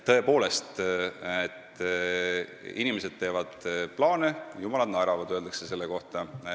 Tõepoolest, inimesed teevad plaane, jumalad naeravad, öeldakse selle kohta.